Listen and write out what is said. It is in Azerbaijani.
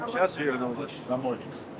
İndi dönmüsünüz.